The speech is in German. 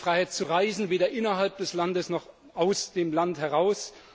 Es gibt keine Freiheit zu reisen, weder innerhalb des Landes, noch aus dem Land heraus.